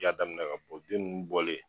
I y'a daminɛ k'a sɔrɔ bin ninnu bɔlen.